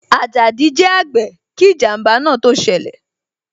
Ajadi jẹ àgbè kí ijanba náà tó ṣẹlẹ̀